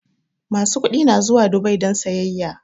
Masu kuɗi na zuwa Dubai don sayyaya